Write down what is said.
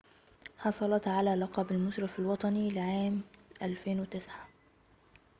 حصلت على لقب المشرف الوطني للعام سنة 2009